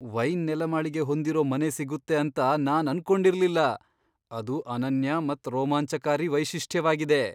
Wine ನೆಲಮಾಳಿಗೆ ಹೊಂದಿರೋ ಮನೆ ಸಿಗುತ್ತೆ ಅಂತ ನಾನ್ ಅನ್ಕೊಂಡಿರ್ಲಿಲ್ಲ, ಅದು ಅನನ್ಯ ಮತ್ ರೋಮಾಂಚಕಾರಿ ವೈಶಿಷ್ಟ್ಯವಾಗಿದೆ.